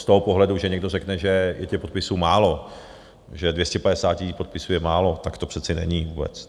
Z toho pohledu, že někdo řekne, že je těch podpisů málo, že 250 000 podpisů je málo, tak to přece není vůbec.